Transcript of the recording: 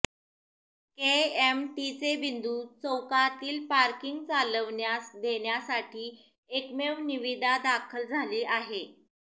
केएमटीचे बिंदू चौकातील पार्किंग चालविण्यास देण्यासाठी एकमेव निविदा दाखल झाली आहे